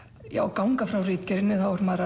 ganga frá ritgerðinni